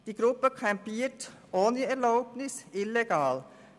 Die Gruppe campiert ohne Erlaubnis, illegal.